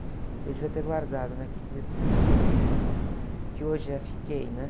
Eu devia ter guardado, né? Que dizia, assim, dos meus namoros, que hoje é fiquei, né?